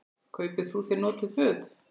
Kaupi þú þér notuð föt?